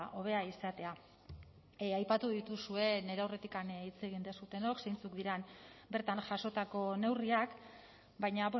hobea izatea aipatu dituzue nire aurretik hitz egin duzuenok zeintzuk diren bertan jasotako neurriak baina